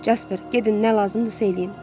Jasper, gedin nə lazımdırsa eləyin.